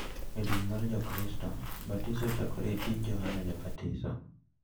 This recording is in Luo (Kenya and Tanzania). E din ma Jokristo, batiso ochakore e tij Johana Jabatiso,